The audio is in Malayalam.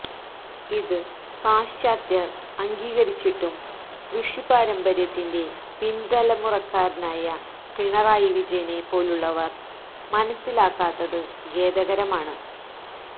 ഇത് പാശ്ചാത്യർ അംഗീകരിച്ചിട്ടും ഋഷിപാര്യമ്പര്യത്തിന്റെ പിൻതലമുറക്കാരനായ പിണറായി വിജയനെ പോലുള്ളവർ മനസ്സിലാക്കാത്തത് ഖേദകരമാണ്